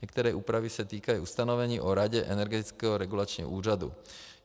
Některé úpravy se týkají ustanovení o Radě Energetického regulačního úřadu.